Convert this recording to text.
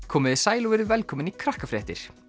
komiði sæl og verið velkomin í Krakkafréttir